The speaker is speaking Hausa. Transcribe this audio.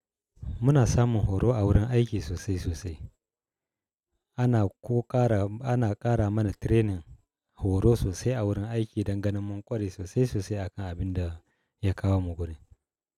Muna samun horo a wurin aiki sosai sosai. Ana ko ƙara ana ƙara mana training horo sosai a wurin aiki don ganin mun ƙware sosai-sosai a kan abin da ya kawo mu guri.